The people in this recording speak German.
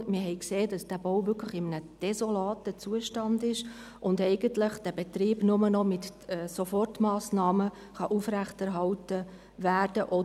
Wir haben gesehen, dass dieser Bau wirklich in einem desolaten Zustand ist, und der Betrieb eigentlich nur noch mit Sofort massnahmen aufrechterhalten werden kann.